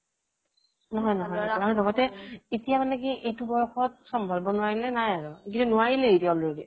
আৰু লগতে এতিয়া মানে কি এইটো বয়সত চম্ভালিব নোৱাৰিলে নাই আৰু নোৱাৰিলেই এতিয়া already